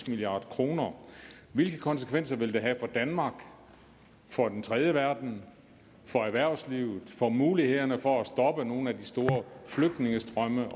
milliard kroner hvilke konsekvenser vil det have for danmark for den tredje verden for erhvervslivet og for mulighederne for at stoppe nogle af de store flygtningestrømme